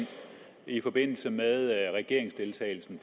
i forbindelse med regeringsdeltagelsen